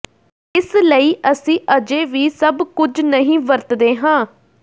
ਇਸ ਲਈ ਅਸੀਂ ਅਜੇ ਵੀ ਸਭ ਕੁਝ ਨਹੀਂ ਵਰਤਦੇ ਹਾਂ